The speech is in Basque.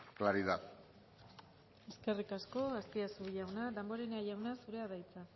claridad eskerrik asko azpiazu jauna damborenea jauna zurea da hitza